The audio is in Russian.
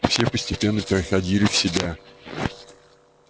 все постепенно приходили в себя